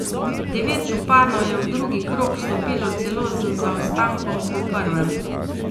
Devet županov je v drugi krog vstopilo celo z zaostankom po prvem.